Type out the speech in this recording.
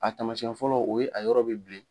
A taamasiyɛn fɔlɔ o ye a yɔrɔ bɛ bilen.